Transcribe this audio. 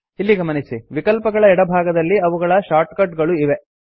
ಇಲ್ಲಿ ಗಮನಿಸಿ ವಿಕಲ್ಪಗಳ ಎಡಭಾಗದಲ್ಲಿ ಅವುಗಳ ಶಾರ್ಟ್ಕಟ್ ಗಳು ಇವೆ